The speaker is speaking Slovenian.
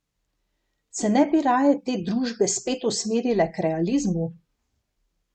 Se ne bi raje te družbe spet usmerile k realizmu?